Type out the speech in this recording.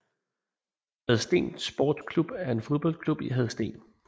Hadsten Sports Klub er en fodboldklub i Hadsten